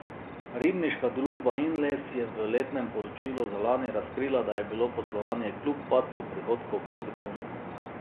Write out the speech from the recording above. Ribniška družba Inles je v letnem poročilu za lani razkrila, da je bilo poslovanje kljub padcu prihodkov pozitivno.